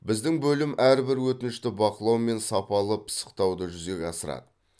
біздің бөлім әрбір өтінішті бақылау мен сапалы пысықтауды жүзеге асырады